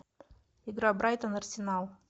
игра брайтон арсенал